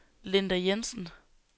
Linda Jensen